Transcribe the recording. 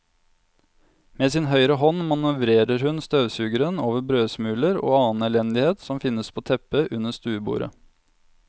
Med sin høyre hånd manøvrerer hun støvsugeren over brødsmuler og annen elendighet som finnes på teppet under stuebordet.